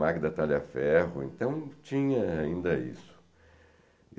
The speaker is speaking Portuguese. Magda Talhaferro, então tinha ainda isso.